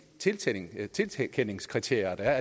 tilkendelseskriterier der er